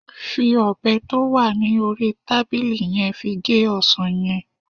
fi obe ti o wa ni ori tabili yen fi ge osan yen